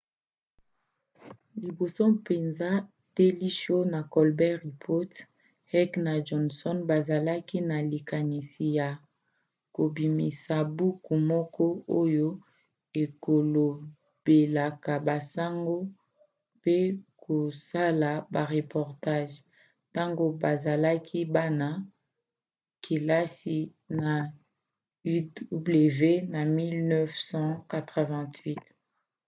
liboso mpenza daily show na colbert report heck na johnson bazalaki na likanisi ya kobimisa buku moko oyo ekolobelaka basango - mpe kosala bareportage - ntango bazalaki bana-kelasi na uw na 1988